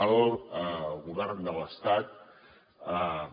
el govern de l’estat va